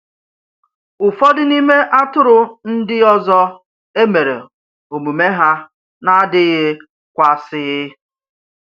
Ụfọdụ n’ime atụrụ ndị ọzọ emèrè omume ha na-adịghị kwààsi.